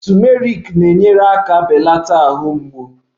Turmeric na-enyere aka belata ahụ mgbu